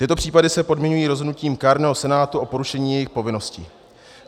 Tyto případy se podmiňují rozhodnutím kárného senátu o porušení jejich povinnosti.